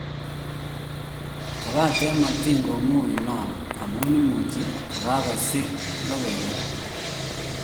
Kobaten matin komuin non amun imuch kogasirin logoiywek.